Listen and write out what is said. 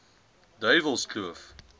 duiwelskloof